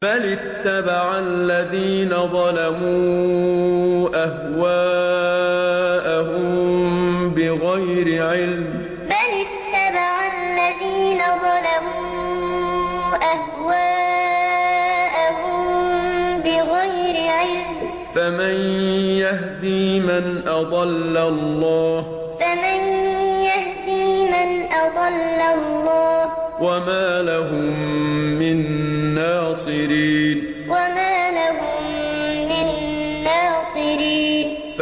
بَلِ اتَّبَعَ الَّذِينَ ظَلَمُوا أَهْوَاءَهُم بِغَيْرِ عِلْمٍ ۖ فَمَن يَهْدِي مَنْ أَضَلَّ اللَّهُ ۖ وَمَا لَهُم مِّن نَّاصِرِينَ بَلِ اتَّبَعَ الَّذِينَ ظَلَمُوا أَهْوَاءَهُم بِغَيْرِ عِلْمٍ ۖ فَمَن يَهْدِي مَنْ أَضَلَّ اللَّهُ ۖ وَمَا لَهُم مِّن نَّاصِرِينَ